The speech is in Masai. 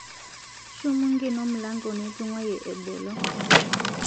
Shomo ng'eno mlango nitung'ayie ebolo